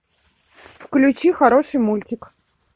включи хороший мультик